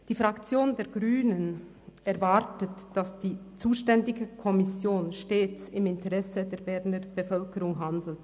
Die Fraktion der Grünen erwartet, dass die zuständige Kommission stets im Interesse der Berner Bevölkerung handelt.